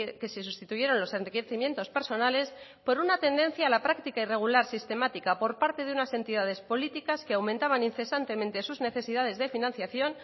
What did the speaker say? que se sustituyeron los enriquecimientos personales por una tendencia a la práctica irregular sistemática por parte de unas entidades políticas que aumentaban incesantemente sus necesidades de financiación